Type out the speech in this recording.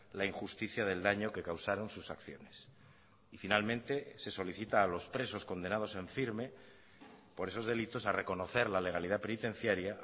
la injusticia del daño que causaron sus acciones y finalmente se solicita a los presos condenados en firme por esos delitos a reconocer la legalidad penitenciaria